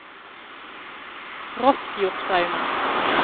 Rossfjordstraumen